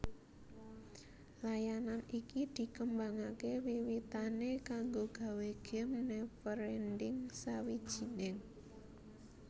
Layanan iki dikembangaké wiwitané kanggo gawé Game Neverending sawijining